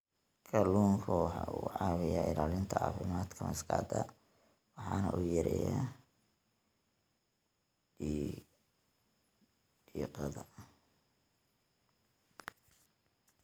Kalluunku waxa uu caawiyaa ilaalinta caafimaadka maskaxda waxana uu yareeyaa diiqada.